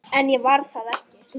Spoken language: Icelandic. En ég var það ekki.